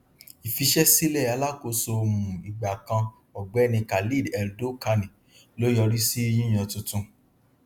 ìfíṣẹsílẹ alákóso um ìgbà kan ọgbẹni khaled eldokani ló yọrí sí yíyàn tuntun